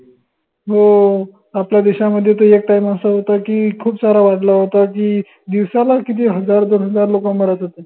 हो आपल्या देशामध्येत एक time असा होता की, खूप सारा वाढला होता की, दिवसाला किती हजार दोन हजार लोक मारत होते.